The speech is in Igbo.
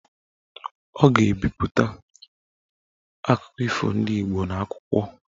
Ọ ga-ebipụta akụkọ ifo ndị Igbo n'akwụkwọ.